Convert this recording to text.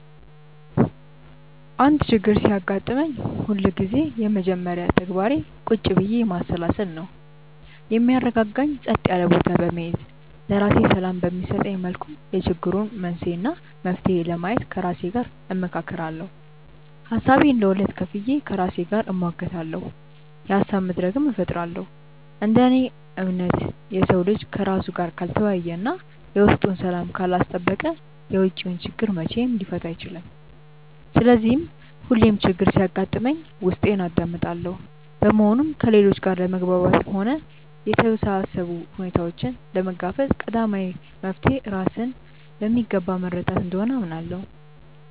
አንድ ችግር ሲያጋጥመኝ ሁልጊዜም የመጀመሪያ ተግባሬ ቁጭ ብዬ ማሰላሰል ነው። የሚያረጋጋኝ ጸጥ ያለ ቦታ በመሄድ፣ ለራሴ ሰላም በሚሰጠኝ መልኩ የችግሩን መንስኤ እና መፍትሄ ለማየት ከራሴ ጋር እመካከራለሁ። ሀሳቤን ለሁለት ከፍዬ ከራሴ ጋር እሟገታለሁ፤ የሀሳብ መድረክም እፈጥራለሁ። እንደ እኔ እምነት፣ የሰው ልጅ ከራሱ ጋር ካልተወያየ እና የውስጡን ሰላም ካላስጠበቀ የውጪውን ችግር መቼም ሊፈታ አይችልም። ስለዚህ ሁሌም ችግር ሲያጋጥመኝ ውስጤን አዳምጣለሁ። በመሆኑም ከሌሎች ጋር ለመግባባትም ሆነ የተወሳሰቡ ሁኔታዎችን ለመጋፈጥ ቀዳሚው መፍትሔ ራስን በሚገባ መረዳት እንደሆነ አምናለሁ።